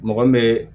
Mɔgɔ min bɛ